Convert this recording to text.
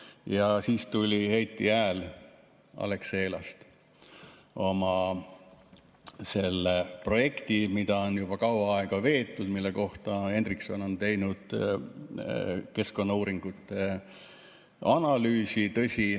Ja siis tuli Heiti Hääl Alexelast oma projektiga, mida on juba kaua aega veetud ja mille kohta Hendrikson on teinud keskkonnauuringute analüüsi.